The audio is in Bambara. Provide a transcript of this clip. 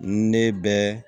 Ne bɛ